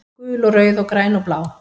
Gul og rauð og græn og blá